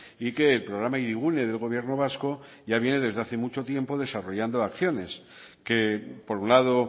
y que el programa hirigune del gobierno vasco ya viene desde hace mucho tiempo desarrollando acciones que por un lado